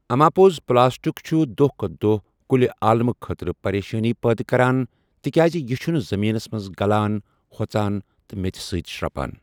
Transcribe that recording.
اَماپوٚز پٕلاسٹِک چھُ دۄہ کھۄتہٕ دۄہ کُل عالمہٕ خٲطرٕ پریشٲنی پٲدٕ کَران تِکیازِ یہِ چھُنہٕ زٔمیٖنَس منٛز گَلان ہۄژان تہٕ میٚژِ سۭتۍ شرٛپان۔